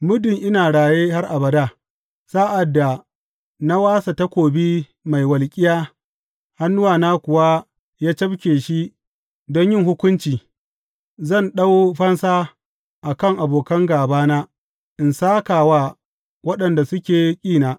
Muddin ina raye har abada, sa’ad da na wasa takobi mai walƙiya hannuna kuwa ya cafke shi don yin hukunci, zan ɗau fansa a kan abokan gābana in sāka wa waɗanda suke ƙina.